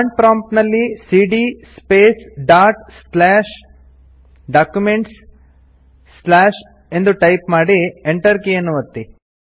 command prompt ನಲ್ಲಿ ಸಿಡಿಯ space dot slash documents ದ್ ಕ್ಯಾಪಿಟಲ್ ನಲ್ಲಿ ಸ್ಲಾಶ್ ಎಂದು ಟೈಪ್ ಮಾಡಿ Enter ಕೀಯನ್ನು ಒತ್ತಿ